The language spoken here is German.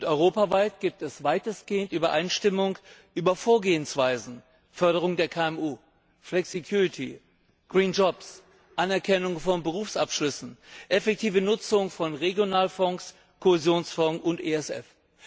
Europaweit gibt es weitestgehend Übereinstimmung über die Vorgehensweisen Förderung der KMU, Flexicurity, green jobs Anerkennung von Berufsabschlüssen, effektive Nutzung von Regionalfonds, Kohäsionsfonds und ESF.